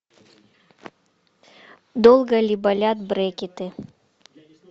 долго ли болят брекеты